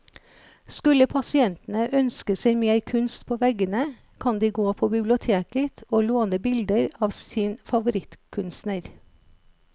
Skulle pasientene ønske seg mer kunst på veggene, kan de gå på biblioteket å låne bilder av sin favorittkunstner.